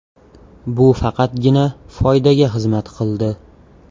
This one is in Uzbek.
Bu faqatgina foydaga xizmat qildi.